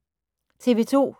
TV 2